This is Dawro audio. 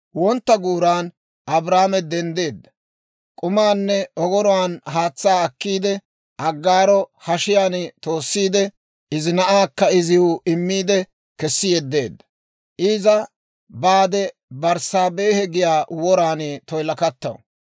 Wontta guuran Abrahaame denddeedda; k'umaanne ogoruwaan haatsaa akkiide, Aggaaro hashiyaan toossiide, izi na'aakka iziw immiide kessi yeddeedda. Iza baade, Berssaabehe giyaa woraan toyilakattaw.